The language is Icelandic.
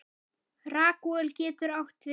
Ragúel getur átt við